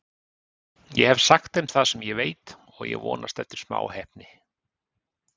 Ég hef sagt þeim það sem ég veit og ég vonast eftir smá heppni.